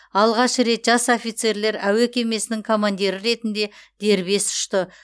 алғаш рет жас офицерлер әуе кемесінің командирі ретінде дербес ұшты